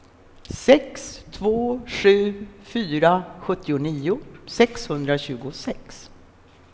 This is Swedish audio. sex två sju fyra sjuttionio sexhundratjugosex